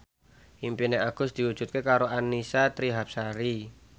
impine Agus diwujudke karo Annisa Trihapsari